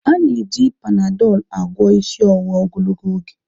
Ana eji Panadolu agwọ isi ọwụwa ogologo oge.